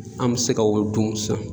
An mi se ka o dun sisan